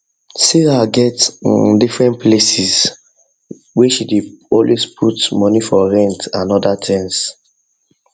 sarah get um different places where she dey always put money for rent and other things um